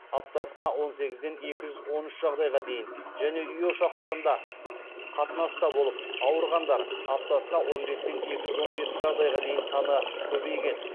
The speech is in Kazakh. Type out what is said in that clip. және үй ошақтарында қатынаста болып ауырғандар саны көбейген